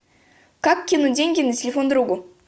как кинуть деньги на телефон другу